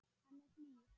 Hann er hlýr.